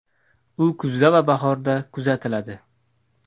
U kuzda va bahorda kuzatiladi.